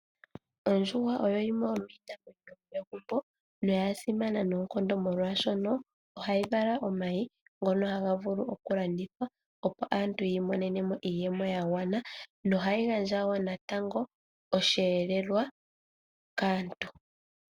Ondjuhwa oyo yimwe yomiinamweno yo megumbo noya simana noonkondo molwaashono, ohayi vala omayi ngono haga vulu oku landithwa, opo aantu yi imonene nemo iiyemo ya gwana noha yi gandja woo natango osheelelwa kaantu.